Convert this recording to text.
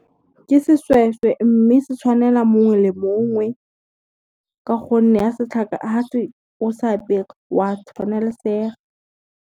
Ke seshweshwe mme se tshwanela mongwe le mongwe, ka gonne a se o se apere wa tshwanelesega.